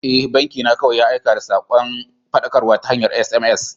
E, banki na kawai ya aika da sakon faɗakarwa ta hanyar SMS.